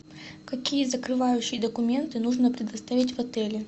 какие закрывающие документы нужно предоставить в отеле